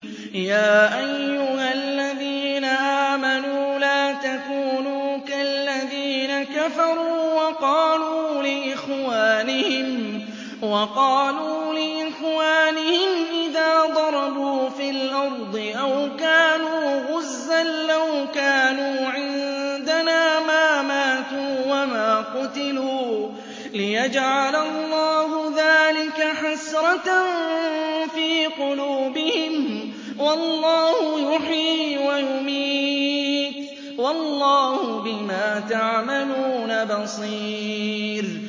يَا أَيُّهَا الَّذِينَ آمَنُوا لَا تَكُونُوا كَالَّذِينَ كَفَرُوا وَقَالُوا لِإِخْوَانِهِمْ إِذَا ضَرَبُوا فِي الْأَرْضِ أَوْ كَانُوا غُزًّى لَّوْ كَانُوا عِندَنَا مَا مَاتُوا وَمَا قُتِلُوا لِيَجْعَلَ اللَّهُ ذَٰلِكَ حَسْرَةً فِي قُلُوبِهِمْ ۗ وَاللَّهُ يُحْيِي وَيُمِيتُ ۗ وَاللَّهُ بِمَا تَعْمَلُونَ بَصِيرٌ